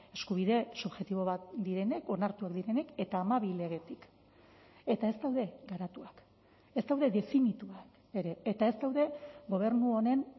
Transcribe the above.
eskubide subjektibo bat direnek onartuak direnek eta hamabi legetik eta ez daude garatuak ez daude definituak ere eta ez daude gobernu honen